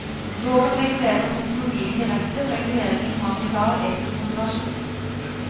Loven regulerer teknologien direkte, og reguleringen har en klar etisk motivasjon.